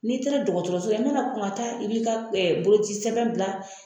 Ni taara dɔgɔtɔrɔso la, i ma na kɔn ka taa i bi ka ɛɛ boloci sɛbɛn bila